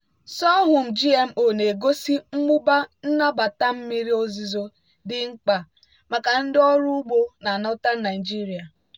sorghum gmo na-egosi mmụba nnabata mmiri ozuzo dị mkpa maka ndị ọrụ ugbo na northern nigeria.